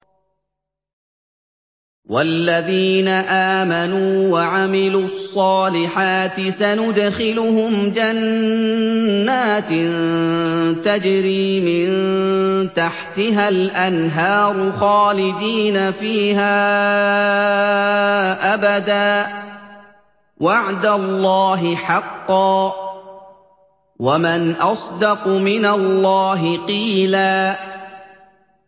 وَالَّذِينَ آمَنُوا وَعَمِلُوا الصَّالِحَاتِ سَنُدْخِلُهُمْ جَنَّاتٍ تَجْرِي مِن تَحْتِهَا الْأَنْهَارُ خَالِدِينَ فِيهَا أَبَدًا ۖ وَعْدَ اللَّهِ حَقًّا ۚ وَمَنْ أَصْدَقُ مِنَ اللَّهِ قِيلًا